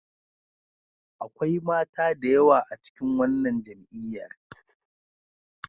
Akwai mata da yawa a cikin wannan jam'iyyar.